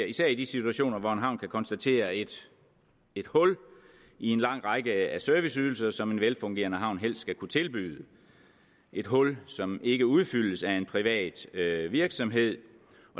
især i de situationer hvor en havn kan konstatere et hul i en lang række af serviceydelser som en velfungerende havn helst skal kunne tilbyde et hul som ikke udfyldes af en privat virksomhed